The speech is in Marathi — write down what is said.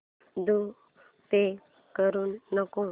द्वारे पे करू नको